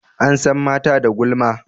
an san mata da gulma